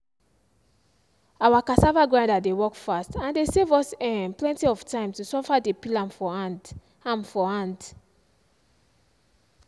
our cassava grinder dey work fast and dey save us um plenty of time to suffer dey peel am for hand am for hand